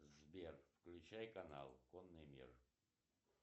сбер включай канал конный мир